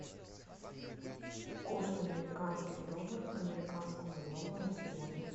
курс американских долларов к американскому доллару сегодня